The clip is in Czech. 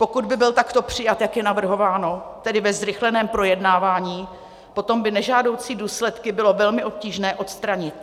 Pokud by byl takto přijat, jak je navrhováno, tedy ve zrychleném projednávání, potom by nežádoucí důsledky bylo velmi obtížné odstranit.